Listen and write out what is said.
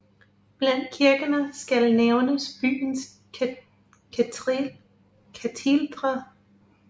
Blandt kirkerne skal nævnes byens katedral St